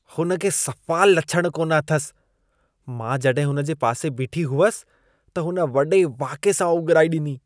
हुन खे सफा लछण कोन अथसि। मां जॾहिं हुन जे पासे बीठी हुअसि, त हुन वॾे वाके सां ओघिराई ॾिनी।